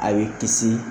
A y'i kisi